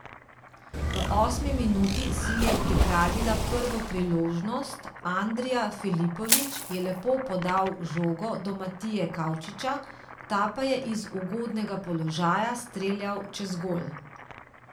V osmi minuti si je pripravila prvo priložnost, Andrija Filipović je lepo podal žogo do Matije Kavčiča, ta pa je iz ugodnega položaja streljal čez gol.